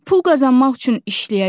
Pul qazanmaq üçün işləyəcəm.